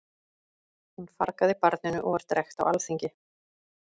Hún fargaði barninu og var drekkt á alþingi.